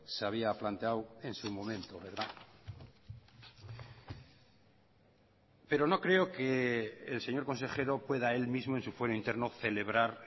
se había planteado en su momento pero no creo que el señor consejero pueda él mismo en su fuero interno celebrar